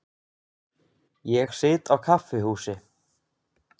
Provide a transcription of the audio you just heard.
Ég sit á kaffihúsi.